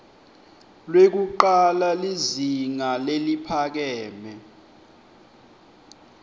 lwekucala lizinga leliphakeme